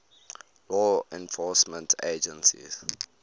law enforcement agencies